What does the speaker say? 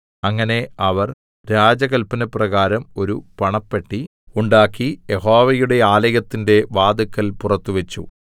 അങ്ങനെ അവർ രാജകല്പനപ്രകാരം ഒരു പണപ്പെട്ടി ഉണ്ടാക്കി യഹോവയുടെ ആലയത്തിന്റെ വാതില്ക്കൽ പുറത്തു വെച്ചു